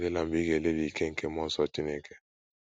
Ya adịla mgbe ị ga - elelị ike nke mmụọ nsọ Chineke.